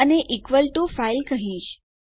અને હું equal to file કહીશ